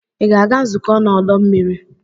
Ị ga-aga nzukọ n'ọdọ mmiri?